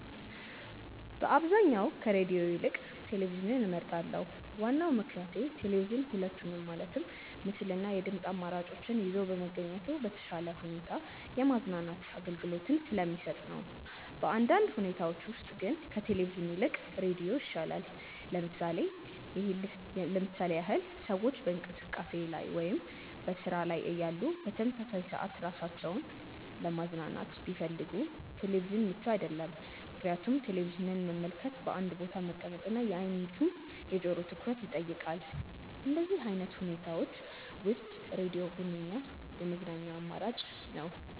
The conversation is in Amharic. በአብዛኛው ከሬድዮ ይልቅ ቴሌቪዥንን እመርጣለሁ። ዋናው ምክንያቴ ቴሌቪዥን ሁለቱንም ማለትም ምስል እና የድምጽ አማራጮችን ይዞ በመገኘቱ በተሻለ ሁኔታ የማዝናናት አገልግሎትን ስለሚሰጥ ነው። በአንዳንድ ሁኔታዎች ውስጥ ግን ከቴሌቪዥን ይልቅ ሬዲዮ ይሻላል። ለምሳሌ ያህል ሰዎች በእንቅስቃሴ ላይ ወይም በስራ ላይ እያሉ በተመሳሳይ ሰዓት ራሳቸውን ለማዝናናት ቢፈልጉ ቴሌቪዥን ምቹ አይደለም፤ ምክንያቱም ቴሌቪዥንን መመልከት በአንድ ቦታ መቀመጥ እና የአይን እንዲሁም የጆሮውን ትኩረት ይጠይቃል። በእንደዚህ አይነት ሁኔታዎች ውስጥ ሬድዮ ሁነኛ የመዝናኛ አማራጭ ነው።